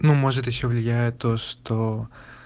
ну может ещё влияет то что